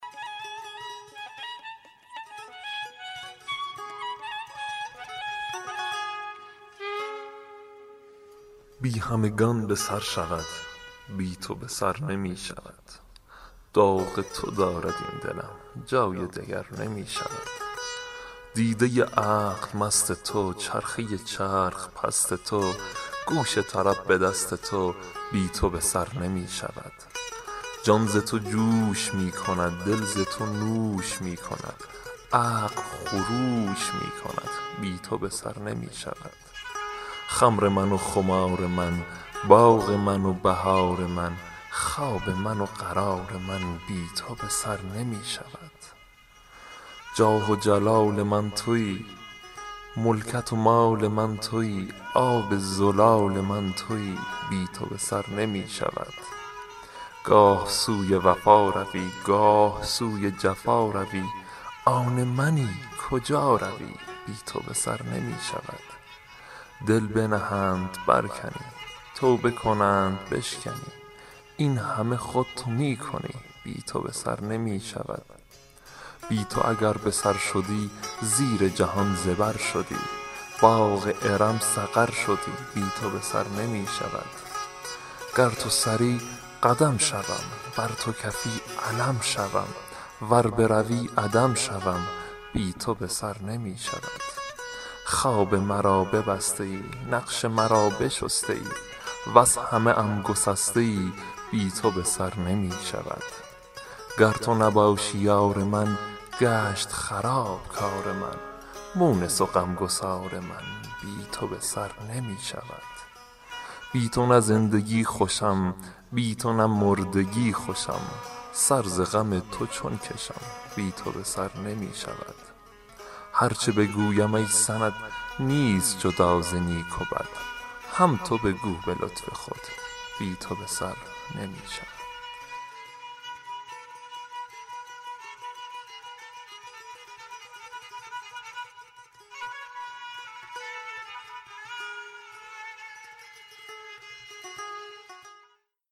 بی همگان به سر شود بی تو به سر نمی شود داغ تو دارد این دلم جای دگر نمی شود دیده عقل مست تو چرخه چرخ پست تو گوش طرب به دست تو بی تو به سر نمی شود جان ز تو جوش می کند دل ز تو نوش می کند عقل خروش می کند بی تو به سر نمی شود خمر من و خمار من باغ من و بهار من خواب من و قرار من بی تو به سر نمی شود جاه و جلال من تویی ملکت و مال من تویی آب زلال من تویی بی تو به سر نمی شود گاه سوی وفا روی گاه سوی جفا روی آن منی کجا روی بی تو به سر نمی شود دل بنهند برکنی توبه کنند بشکنی این همه خود تو می کنی بی تو به سر نمی شود بی تو اگر به سر شدی زیر جهان زبر شدی باغ ارم سقر شدی بی تو به سر نمی شود گر تو سری قدم شوم ور تو کفی علم شوم ور بروی عدم شوم بی تو به سر نمی شود خواب مرا ببسته ای نقش مرا بشسته ای وز همه ام گسسته ای بی تو به سر نمی شود گر تو نباشی یار من گشت خراب کار من مونس و غم گسار من بی تو به سر نمی شود بی تو نه زندگی خوشم بی تو نه مردگی خوشم سر ز غم تو چون کشم بی تو به سر نمی شود هر چه بگویم ای سند نیست جدا ز نیک و بد هم تو بگو به لطف خود بی تو به سر نمی شود